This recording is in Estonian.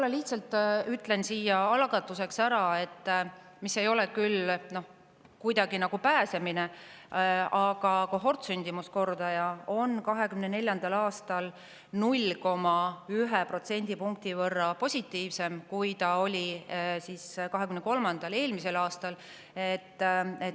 Ma lihtsalt ütlen siia algatuseks ära – see ei ole küll kuidagi nagu pääsemine –, et kohortsündimuskordaja on 2024. aastal 0,1 protsendipunkti võrra positiivsem, kui ta oli eelmisel, 2023. aastal.